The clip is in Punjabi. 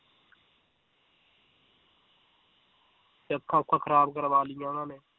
ਤੇ ਅੱਖਾਂ ਊਖਾਂ ਖਰਾਬ ਕਰਵਾ ਲਈਆਂ ਉਹਨਾਂ ਨੇ